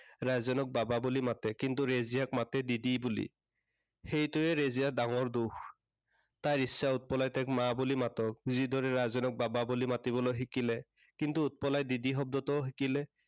ৰাজেনক বাবা বুলি মাতে। কিন্তু ৰেজিয়াক মাতে দিদি বুলি। সেইটোৱে ৰেজিয়াৰ ডাঙৰ দুখ। তাই ইচ্ছা তাইক উৎপলাই মা বুলি মাতক। যি দৰে ৰাজেনক বাবা বুলি মাতিবলৈ শিকিলে। কিন্তু উৎপলাই দিদি শব্দটোও শিকিলে।